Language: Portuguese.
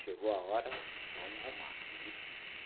Chegou a hora, vamos arrumar aí